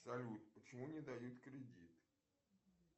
салют почему не дают кредит